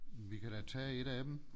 Vi kan da tage et af dem